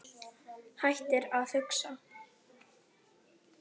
Hættir að hugsa.